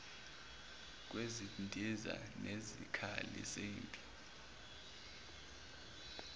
kwezindiza nezikhali zempi